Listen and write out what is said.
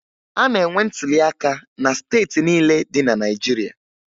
A na-enwe ntụliaka na steeti niile dị na Naịjirịa